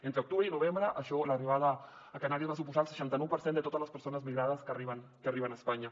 entre octubre i novembre això l’arribada a canàries va suposar el seixanta nou per cent de totes les persones migrades que arriben a espanya